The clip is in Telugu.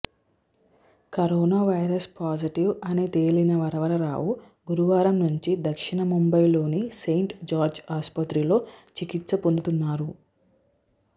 కరోనావైరస్ పాజిటివ్ అని తేలిన వరవరరావు గురువారం నుంచి దక్షిణ ముంబైలోని సెయింట్ జార్జ్ ఆసుపత్రిలో చికిత్స పొందుతున్నారు